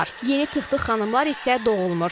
Yeni Tıq-tıq xanımlar isə doğulmur.